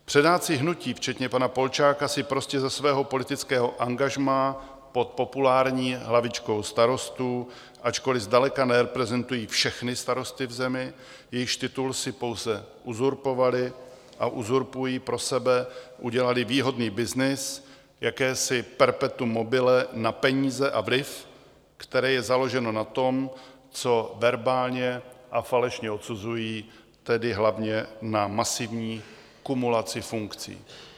Předáci hnutí, včetně pana Polčáka, si prostě ze svého politického angažmá pod populární hlavičkou Starostů, ačkoliv zdaleka nereprezentují všechny starosty v zemi, jejichž titul si pouze uzurpovali a uzurpují pro sebe, udělali výhodný byznys, jakési perpetuum mobile na peníze a vliv, které je založeno na tom, co verbálně a falešně odsuzují, tedy hlavně na masivní kumulaci funkcí.